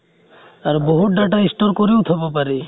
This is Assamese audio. আৰু বহুত data store কৰিও থব পাৰি।